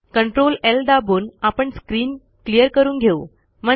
CTRL L दाबून आपण screen clear करून घेऊ